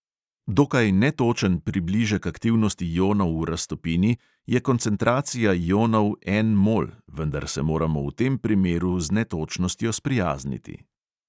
Dokaj netočen približek aktivnosti ionov v raztopini je koncentracija ionov en mol, vendar se moramo v tem primeru z netočnostjo sprijazniti.